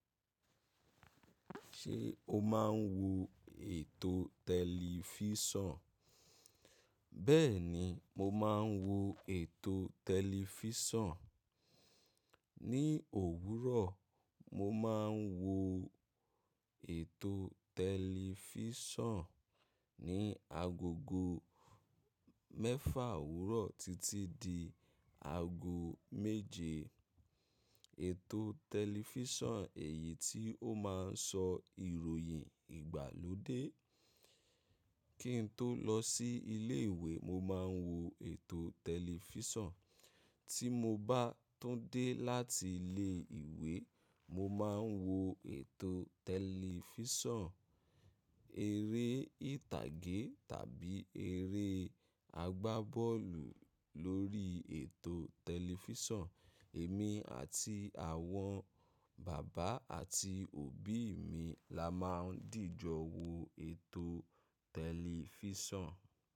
Ṣé o máa ń wo ètò tẹlifísàn? Bẹ́ẹ̀ni, mo máa ń wo ètò tẹlifísàn. Ni òwúrọ̀, mo máa ń wo ètò tẹlifísàn. Ni agogo mẹ́fà òwúrọ̀ títí di ago méje, ètò tẹlifísàn èyí tí ó máa ń sọ ìròyìn ìgbàlódé. Kí n tó lọ sí ilé ìwé, mo máa ń wo ètò tẹlifísàn. Tí mo bá tún dé láti ilé ìwé, mo máa ń wo ètò tẹlifísàn eré ìtàgé tàbí eré àgbábọ́ọ̀lù lórí ètò tẹlifísàn. Èmi àti àwọn bàbá àti òbí mi la máa ń dìjọ wo ètò tẹlifísàn.